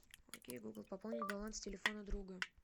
окей гугл пополнить баланс телефона друга